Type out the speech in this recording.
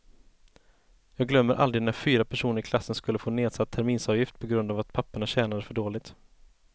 Jag glömmer aldrig när fyra personer i klassen skulle få nedsatt terminsavgift på grund av att papporna tjänade för dåligt.